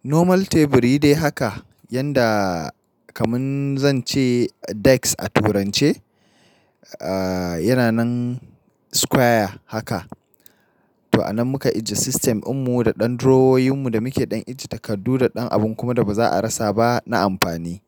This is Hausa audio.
Normal teburi dai haka yanda kamin zan ce desk a turance, a yana nan square haka. To a nan muka ajiye system, ummu da ɗan draweroyinmu da muke ɗan ajiye takardu da ɗan abun kuma da ba za a rasa ba na amfani.